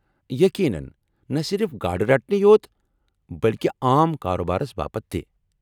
یقینن! نہ صرف گاڑٕ رٹنٕے یوت نہٕ بلكہِ عام كاربارس باپت تہِ ۔